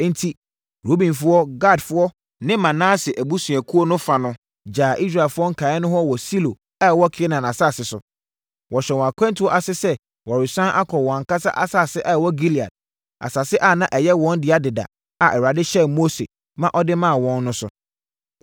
Enti, Rubenfoɔ, Gadfoɔ ne Manase abusuakuo fa no gyaa Israelfoɔ nkaeɛ no hɔ wɔ Silo a ɛwɔ Kanaan asase so. Wɔhyɛɛ wɔn akwantuo ase sɛ wɔresane akɔ wɔn ankasa asase a ɛwɔ Gilead, asase a na ɛyɛ wɔn dea dada a Awurade hyɛɛ Mose ma ɔde maa wɔn no so.